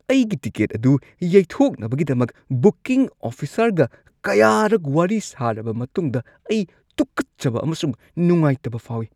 ꯑꯩꯒꯤ ꯇꯤꯀꯦꯠ ꯑꯗꯨ ꯌꯩꯊꯣꯛꯅꯕꯒꯤꯗꯃꯛ ꯕꯨꯀꯤꯡ ꯑꯣꯐꯤꯁꯔꯒ ꯀꯌꯥꯔꯛ ꯋꯥꯔꯤ ꯁꯥꯔꯕ ꯃꯇꯨꯡꯗ ꯑꯩ ꯇꯨꯀꯠꯆꯕ ꯑꯃꯁꯨꯡ ꯅꯨꯡꯉꯥꯏꯇꯕ ꯐꯥꯎꯏ ꯫